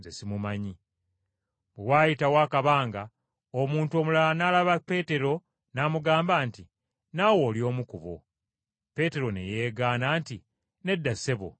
Bwe waayitawo akabanga omuntu omulala n’alaba Peetero n’amugamba nti, “Naawe oli omu ku bo.” Peetero ne yeegaana nti, “Nedda, ssebo, si bwe kiri.”